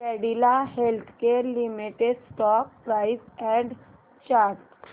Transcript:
Cadila healthcare limited stock price and chart